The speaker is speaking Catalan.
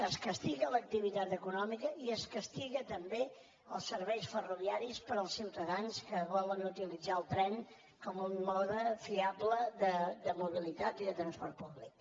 es castiga l’activitat econòmica i es castiguen també els serveis ferroviaris per als ciutadans que volen utilitzar el tren com un mode fiable de mobilitat i de transport públic